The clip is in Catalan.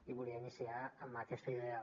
i volia iniciar amb aquesta idea